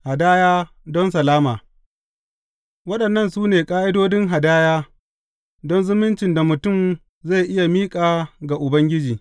Hadaya don salama Waɗannan su ne ƙa’idodin hadaya don zumuncin da mutum zai iya miƙa ga Ubangiji.